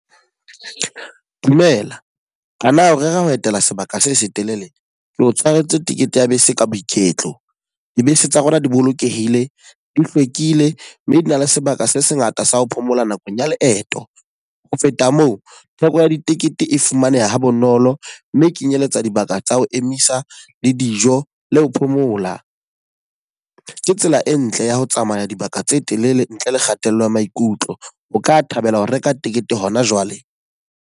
Dumela, a na o rera ho etela sebaka se setelele? Ke o tshwaretse tikete ya bese ka boiketlo. Dibese tsa rona di bolokehile, di hlwekile mme di na le sebaka se sengata sa ho phomola nakong ya leeto. Ho feta moo, theko ya ditekete e fumaneha ha bonolo mme kenyeletsa dibaka tsa ho emisa le dijo le ho phomola. Ke tsela e ntle ya ho tsamaya dibaka tse telele ntle le kgatello ya maikutlo. O ka thabela ho reka tikete hona jwale?